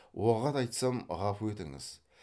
оғат айтсам ғафу етіңіз